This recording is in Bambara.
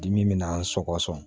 Dimi bɛ n sɔgɔ sɔgɔ